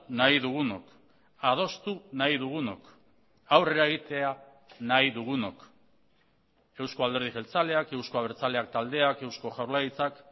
nahi dugunok adostu nahi dugunok aurrera egitea nahi dugunok euzko alderdi jeltzaleak eusko abertzaleak taldeak eusko jaurlaritzak